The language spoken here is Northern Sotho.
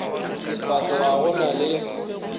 sefako ga go na le